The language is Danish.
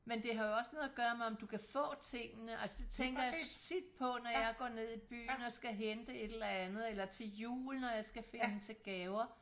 Men det har jo også noget at køre med om du kan få tingene altså det tænker jeg tit på når jeg går ned i byen og skal hente et eller andet eller til jul når jeg skal finde til gaver